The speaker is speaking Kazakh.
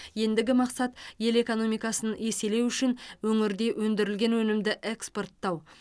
ендігі мақсат ел экономикасын еселеу үшін өңірде өндірілген өнімді экспорттау